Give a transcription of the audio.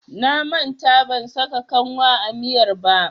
Na manta ban saka kanwa a miyar ba.